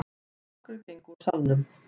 Nokkrir gengu úr salnum.